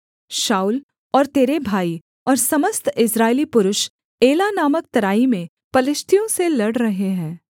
शाऊल और तेरे भाई और समस्त इस्राएली पुरुष एला नामक तराई में पलिश्तियों से लड़ रहे है